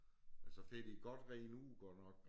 Men så fik de godt redet ud godt nok